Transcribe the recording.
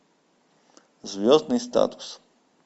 звездный статус